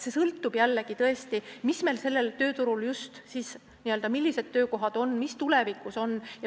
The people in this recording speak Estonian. See sõltub jällegi, tõesti, sellest, millised töökohad just siis on ja mis töökohad tulevikus on.